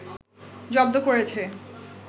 জব্দ করেছে